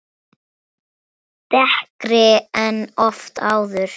Dekkri en oft áður.